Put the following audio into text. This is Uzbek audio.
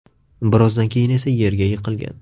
Birozdan keyin esa yerga yiqilgan.